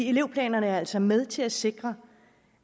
elevplanerne er altså med til at sikre